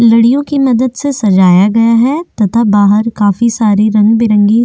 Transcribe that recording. लडियो की मदद से सजाया गया है तथा बाहर काफी सारे रंग बिरंगी --